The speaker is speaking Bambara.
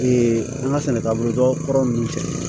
an ka sɛnɛ taabolo jɔ kɔrɔ ninnu cɛ